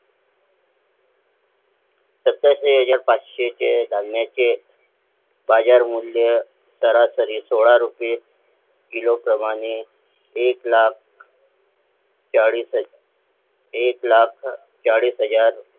सत्याऐंशी हजार पाचशे धान्याचे बाजार मूल्य सोळा रुपये किलो प्रमाणे एकलाख एक लाख चाळीस हजार